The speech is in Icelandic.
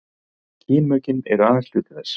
kynmökin eru aðeins hluti þess